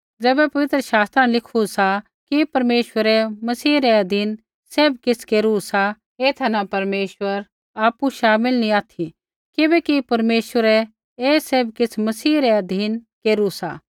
ज़ैबै पवित्र शास्त्रा न लिखू सा कि परमेश्वरै मसीह रै अधीन सैभ किछ़ केरू सा एथा न परमेश्वर आपु शामिल नैंई ऑथि किबैकि परमेश्वरै ही सैभ किछ़ मसीह रै अधीन केरू सा